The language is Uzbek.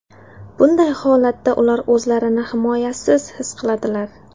Bunday holatda ular o‘zlarini himoyasiz his qiladilar.